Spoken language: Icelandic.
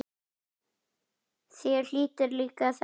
Þér hlýtur að líka þetta?